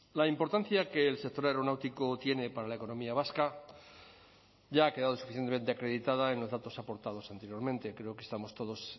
la importancia que el sector aeronáutico tiene para la economía vasca ya ha quedado suficientemente acreditada en los datos aportados anteriormente creo que estamos todos